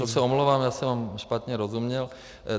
Tak to se omlouvám, já jsem vám špatně rozuměl.